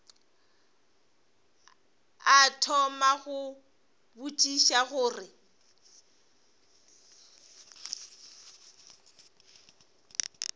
a thoma go botšiša gore